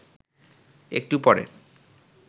একটু পরে